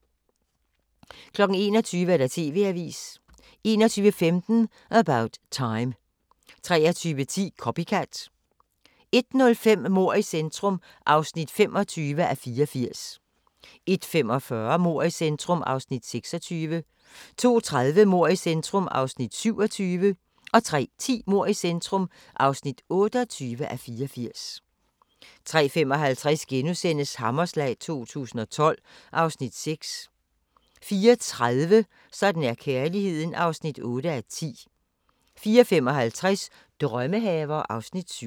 21:00: TV-avisen 21:15: About Time 23:10: Copycat 01:05: Mord i centrum (25:84) 01:45: Mord i centrum (26:84) 02:30: Mord i centrum (27:84) 03:10: Mord i centrum (28:84) 03:55: Hammerslag 2012 (Afs. 6)* 04:30: Sådan er kærligheden (8:10) 04:55: Drømmehaver (Afs. 7)